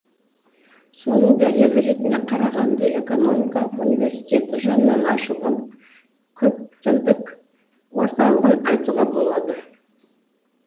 соның дәлелі ретінде қарағанды экономикалық университеті жанынан ашылған көптілдік орталығын айтуға болады